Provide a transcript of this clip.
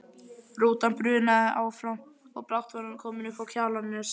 Rútan brunaði áfram og brátt var hún komin uppá Kjalarnes.